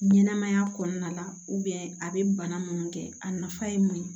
Ɲɛnɛmaya kɔnɔna la a bɛ bana minnu kɛ a nafa ye mun ye